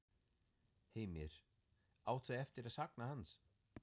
Heimir: Átt þú eftir að sakna hans?